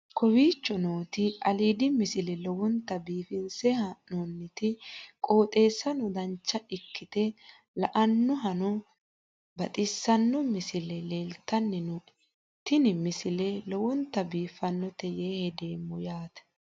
kowicho nooti aliidi misile lowonta biifinse haa'noonniti qooxeessano dancha ikkite la'annohano baxissanno misile leeltanni nooe ini misile lowonta biifffinnote yee hedeemmo yaate